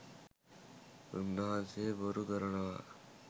උන්වහන්සේ බොරු කරනවා